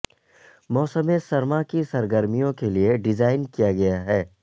موسم سرما کی سرگرمیوں کے لئے ڈیزائن کیا گیا ہے